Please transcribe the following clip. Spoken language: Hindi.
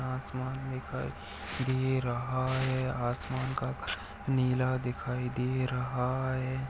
आसमान दिखाई दे रहा है आसमान का कलर नीला दिखाई दे रहा है।